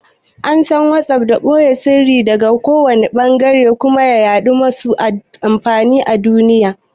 An san WhatsApp da ɓoye siriri daga kowanne ɓangare da kuma yaɗuwar masu amfani a duniya.